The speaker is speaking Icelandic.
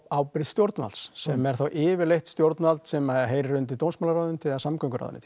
ábyrgð stjórnvalds sem er þá yfirleitt stjórnvald sem heyrir undir dómsmálaráðuneytið eða samgönguráðuneyti